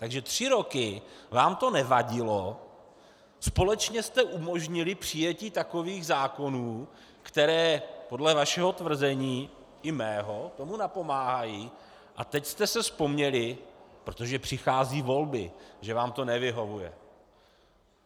Takže tři roky vám to nevadilo, společně jste umožnili přijetí takových zákonů, které podle vašeho tvrzení - i mého - tomu napomáhají, a teď jste si vzpomněli, protože přicházejí volby, že vám to nevyhovuje.